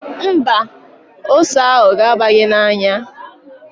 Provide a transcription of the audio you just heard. Mba, ose ahụ ga-aba gị n'anya.